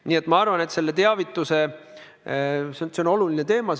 Nii et ma arvan, et teavitus on oluline teema.